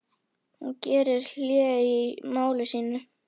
Hún gerði hlé á máli sínu.